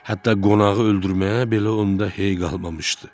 Hətta qonağı öldürməyə belə onda hey qalmamışdı.